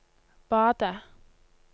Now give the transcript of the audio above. badet